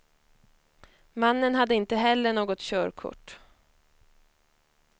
Mannen hade inte heller något körkort.